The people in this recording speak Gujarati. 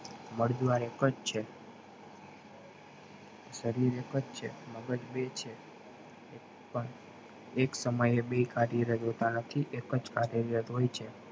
મળ દ્વાર એકજ છે શરીર એકજ છે મગજ બે છે એક પણ એક સમયે બે કર્યો એકજ કાર્ય રાત હોય છે